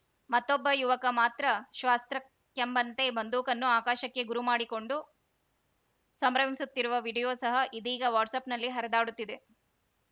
ಮತ್ತೊಬ್ಬ ಯುವಕ ಮಾತ್ರ ಶ್ವಾಸ್ತ್ರಕ್ಕೆಂಬಂತೆ ಬಂದೂಕನ್ನು ಆಕಾಶಕ್ಕೆ ಗುರು ಮಾಡಿಕೊಂಡು ಸಂಭ್ರಮಿಸುತ್ತಿರುವ ವೀಡಿಯೋ ಸಹ ಇದೀಗ ವಾಟ್ಸಪ್‌ಗಳಲ್ಲಿ ಹರಿದಾಡುತ್ತಿದೆ